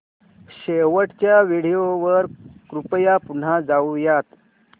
शेवटच्या व्हिडिओ वर कृपया पुन्हा जाऊयात